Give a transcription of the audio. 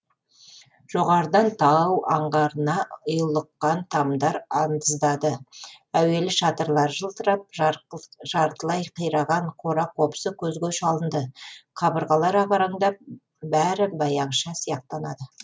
жоғарыдан тау аңғарына ұйлыққан тамдар андыздады әуелі шатырлары жылтырап жартылай қираған қора қопсы көзге шалынды қабырғалар ағараңдап бәрі баяғыша сияқтанады